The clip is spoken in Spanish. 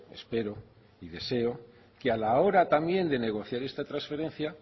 espero y deseo que a la hora también de negociar esta transferencia